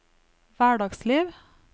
hverdagsliv